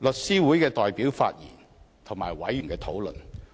港律師會代表發言，以及委員討論。